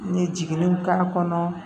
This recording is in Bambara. N ye jigininw k'a kɔnɔ